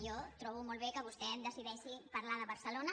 jo trobo molt bé que vostè decideixi parlar de barcelona